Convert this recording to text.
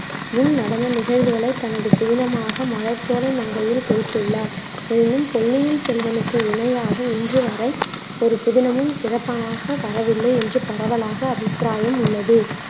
முன் நடந்த நிகழ்வுகளை தனது புதினமாக மலர்ச்சோலை மங்கையில் கொடுத்துள்ளார். எனினும் பொன்னியின் செல்வனுக்கு இணையாக இன்று வரை ஒரு புதினமும் சிறப்பாக வரவில்லை என்று பரவலாக அபிப்பிராயம் உள்ளது